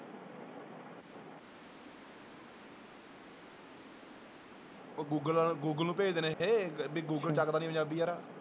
ਉਹ Google, Google ਨੂੰ ਭੇਜਦੇ ਨੇ ਇਹ, ਵੀ ਗੂਗਲ ਚੁੱਕਦਾ ਨੀ ਪੰਜਾਬੀ ਯਾਰ।